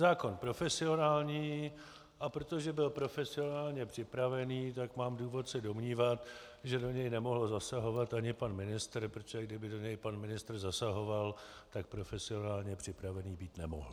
Zákon profesionální, a protože byl profesionálně připraven, tak mám důvod se domnívat, že do něj nemohl zasahovat ani pan ministr, protože kdyby do něj pan ministr zasahoval, tak profesionálně připravený být nemohl.